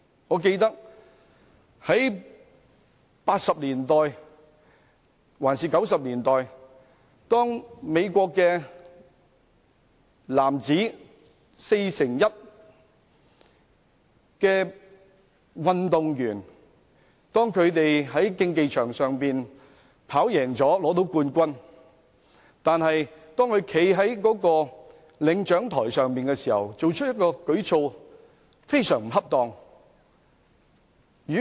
我記得在1980年代或1990年代，一名美國運動員在男子4乘100米的競技場上取得冠軍，但當他站在領獎台上時，作出非常不恰當的舉措。